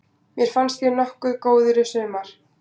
Mér fannst ég nokkuð góður í sumar.